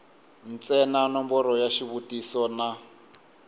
ntsena nomboro ya xivutiso na